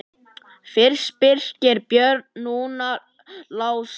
Fyrst Birgir Björn, núna Lási.